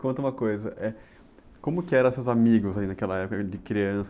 Conta uma coisa, eh, como que eram seus amigos ali naquela época, ãh, de criança?